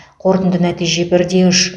қорытынды нәтиже бір де үш